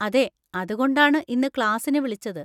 അതെ, അതുകൊണ്ടാണ് ഇന്ന് ക്ലാസ്സിന് വിളിച്ചത്.